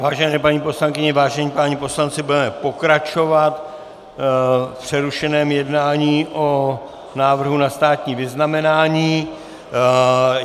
Vážené paní poslankyně, vážení páni poslanci, budeme pokračovat v přerušeném jednání o návrhu na státní vyznamenání.